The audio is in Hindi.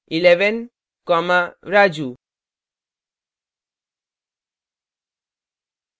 11 comma raju